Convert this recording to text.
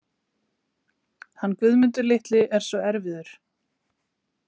Hann Guðmundur litli er svo erfiður.